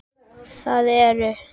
Það eru